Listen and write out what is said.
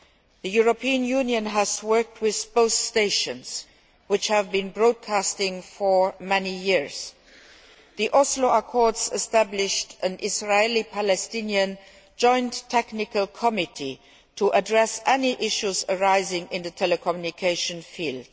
The European Union has worked with both stations, which have been broadcasting for many years. The Oslo Accords established an Israeli Palestinian Joint Technical Committee to address any issues arising in the telecommunications field.